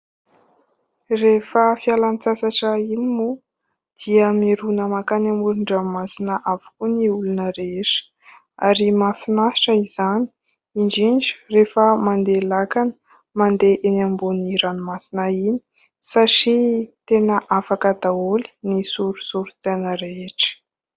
Rehefa fialantsasatra iny moa dia mirona mankany amoron_dranomasina avokoa ny olona rehetra ,ary mahafinaritra izany indrindra rehefa mandeha lakana mandeha eny ambonin'ny ranomasina iny satria tena afaka daholo ny sorisorin-tsaina rehetra .